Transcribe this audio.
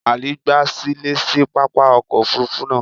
Ali gba silẹ si papa ọkọ ofurufu naa